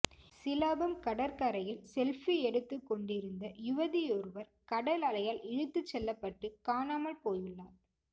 சிலாபம் கடற்கரையில் செல்பி எடுத்துக் கொண்டிருந்த யுவதியொருவர் கடல் அலையால் இழுத்துச் செல்லப்பட்டு காணாமல் போயுள்ளார்